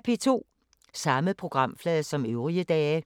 Samme programflade som øvrige dage